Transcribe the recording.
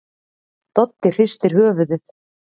Doddi hristir höfuðið.